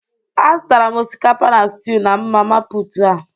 Azụtara m osikapa na stiu na mama put aa